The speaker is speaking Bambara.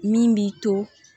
Min b'i to